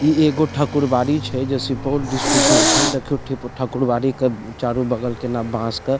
इ एगो ठाकुर बाड़ी छै जे सुपौल डिस्ट्रिक मे छै देखियो ठीप ठाकुरवाड़ी के चारों बगल केना बांस के --